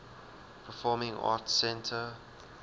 performing arts center